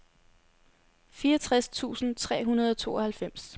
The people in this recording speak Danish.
fireogtres tusind tre hundrede og tooghalvfems